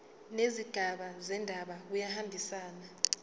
nezigaba zendaba kuyahambisana